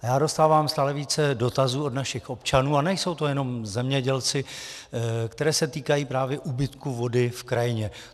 A já dostávám stále více dotazů od našich občanů, a nejsou to jenom zemědělci, které se týkají právě úbytku vody v krajině.